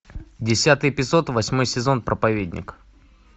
десятый эпизод восьмой сезон проповедник